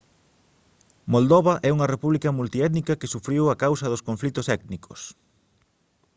moldova é unha república multiétnica que sufriu a causa dos conflitos étnicos